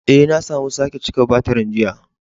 Eh, na samu sake cika batirin jiya.